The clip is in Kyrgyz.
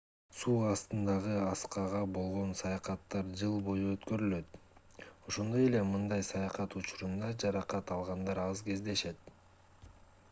суу астындагы аскага болгон саякаттар жыл бою өткөрүлөт ошондой эле мындай саякат учурунда жаракат алгандар аз кездешет